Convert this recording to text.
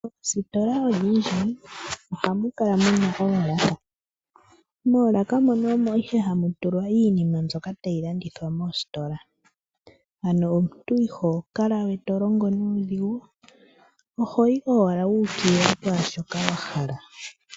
Oositola odhindji ohamu kala muna oolaka. Moolaka mono omo ihe hamu tulwa iinima mbyoka tayi landithwa moositola. Ano omuntu iho kala we tolongo nuudhigu, ohoyi owala wuukilila pwaashoka wahala.